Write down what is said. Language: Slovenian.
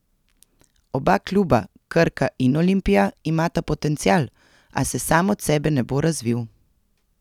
Oba kluba, Krka in Olimpija, imata potencial, a se sam od sebe ne bo razvil.